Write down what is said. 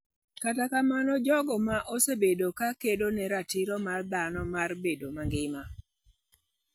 Kata mana jogo ma osebedo ka kedo ne ratiro mar dhano mar bedo mangima.